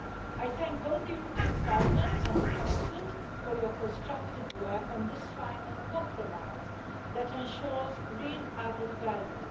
I thank both the European Parliament and the Council for your constructive work on this final compromise that ensures real added value.